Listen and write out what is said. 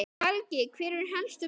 Helgi, hver eru helstu málin?